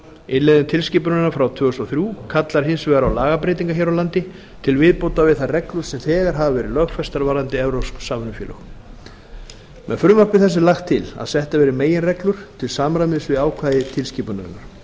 innleiðing tilskipunarinnar frá tvö þúsund og þrír kallar hins vegar á lagabreytingar hér á landi til viðbótar við þær reglur sem þegar hafa verið lögfestar varðandi evrópsk samvinnufélög með frumvarpi þessu er lagt til að settar verði meginreglur til samræmis við ákvæði tilskipunarinnar